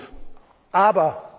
ist gut,